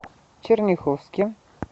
черняховске